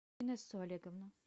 инессу олеговну